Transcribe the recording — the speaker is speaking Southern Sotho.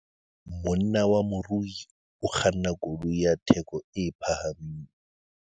Monna wa morui o kganna koloi ya theko e phahameng.